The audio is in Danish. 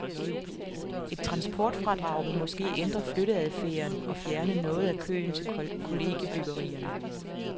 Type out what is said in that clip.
Et transportfradrag vil måske ændre flytteadfærden og fjerne noget af køen til kollegiebyggerierne.